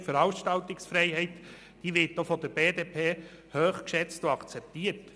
Die Meinungsäusserungsfreiheit wird auch von der BDP hoch geschätzt und akzeptiert.